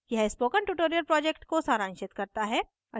यह spoken tutorial project को सारांशित करता है